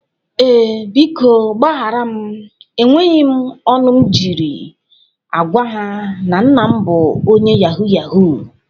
Ee, biko gbahara m. E nweghi m ọnụ m jiri agwa ha na nna m bụ onye yahoo yahoo.